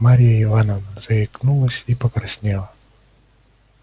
марья ивановна заикнулась и покраснела